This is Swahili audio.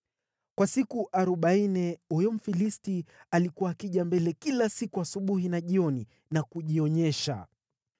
Kwa siku arobaini huyo Mfilisti alikuwa akija mbele kila siku asubuhi na jioni na kujionyesha.